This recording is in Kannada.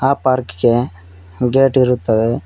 ಆ ಪಾರ್ಕ್ ಗೆ ಗೇಟ್ ಇರುತ್ತದೆ.